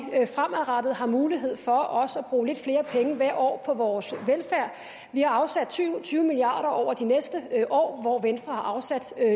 fremadrettet har mulighed for også at bruge lidt flere penge hvert år på vores velfærd vi har afsat syv og tyve milliard kroner over de næste år hvor venstre har afsat